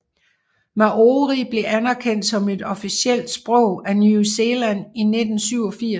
Māori blev anerkendt som et officielt sprog af New Zealand i 1987